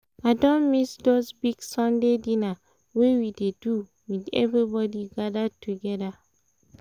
i don miss those big sunday dinner wey we dey do with everybody gathered together